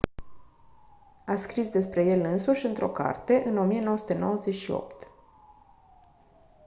a scris despre el însuși într-o carte în 1998